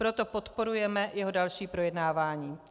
Proto podporujeme jeho další projednávání.